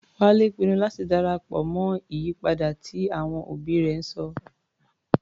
Wálé pinnu láti darapọ̀ mọ́ ìyípadà tí àwọn òbí rẹ̀ ń sọ.